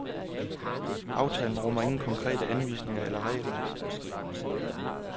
Aftalen rummer ingen konkrete anvisninger eller regler.